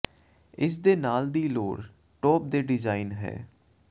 ਇਸ ਦੇ ਨਾਲ ਦੀ ਲੋੜ ਟੋਪ ਦੇ ਡਿਜ਼ਾਇਨ ਹੈ